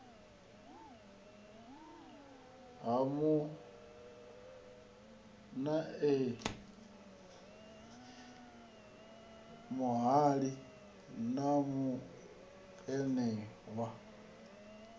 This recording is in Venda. ha muanewa muhali na muanewa